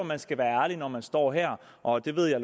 man skal være ærlig når man står her og det ved jeg